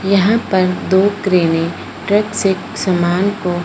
यहां पर दो क्रेनें ट्रक से सामान को--